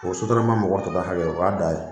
O ye sotarama mɔgɔ taa ta hakɛ ye o y'a da ye